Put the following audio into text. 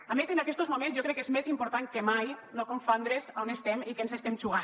a més en aquestos moments jo crec que és més important que mai no confondre’s a on estem i què ens estem jugant